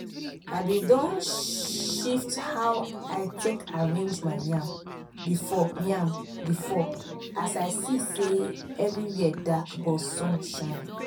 i been don shift how i take arrange my yam before yam before as i see say everywhere dark but sun shine